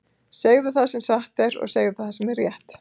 Segðu það sem satt er, og segðu það sem er rétt!